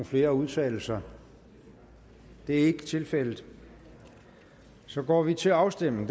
flere at udtale sig det er ikke tilfældet og så går vi til afstemning